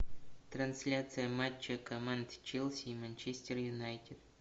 трансляция матча команд челси и манчестер юнайтед